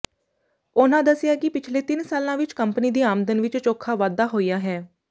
ਉਨ੍ਹਾਂ ਦੱਸਿਆ ਕਿ ਪਿਛਲੇ ਤਿੰਨ ਸਾਲਾਂ ਵਿੱਚ ਕੰਪਨੀ ਦੀ ਆਮਦਨ ਵਿੱਚ ਚੌਖਾ ਵਾਧਾ ਹੋਇਆ ਹੈ